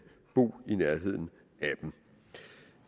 bo i nærheden af dem